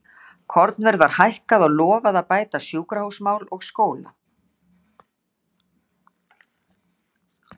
Kornverð var lækkað og lofað að bæta sjúkrahúsmál og skóla.